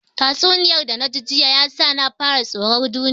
Tatsuniyar da naji jiya ya sa na fara tsoron duniyar nan